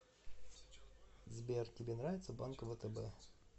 сбер тебе нравится банк втб